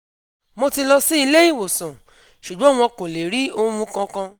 Mo ti lọ sí ilé ìwòsàn, ṣùgbọ́n wọn kò lè rí ohun kankan